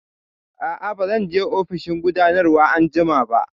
Aa, ba zan je ofishin gudanarwa anjima ba